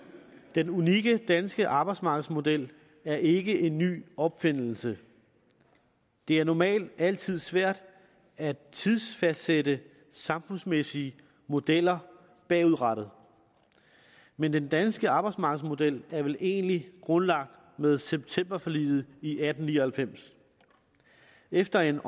den unikke danske arbejdsmarkedsmodel er ikke en ny opfindelse det er normalt altid svært at tidsfastsætte samfundsmæssige modeller bagudrettede men den danske arbejdsmarkedsmodel er vel egentlig grundlagt med septemberforliget i atten ni og halvfems efter en